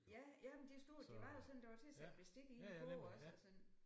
Ja jamen det er stort det var jo sådan der var til at sætte bestik i en kurv også og sådan